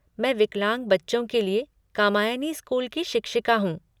मैं विकलांग बच्चों के लिए कामायनी स्कूल की शिक्षिका हूँ।